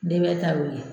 N dɛmɛ ta y'o ye